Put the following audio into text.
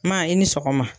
Maa i ni sɔgɔma